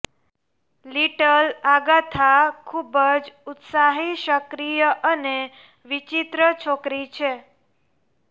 little Agatha ખૂબ જ ઉત્સાહિત સક્રિય અને વિચિત્ર છોકરી છે